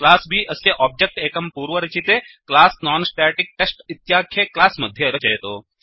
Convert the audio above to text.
class B अस्य object एकं पूर्वरचिते क्लास नॉन्स्टेटिक्टेस्ट् इत्याख्ये क्लास् मध्ये रचयतु